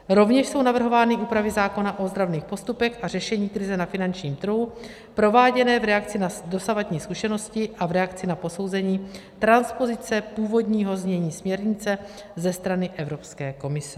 Rovněž jsou navrhovány úpravy zákona o ozdravných postupech a řešení krize na finančním trhu prováděné v reakci na dosavadní zkušenosti a v reakci na posouzení transpozice původního znění směrnice ze strany Evropské komise.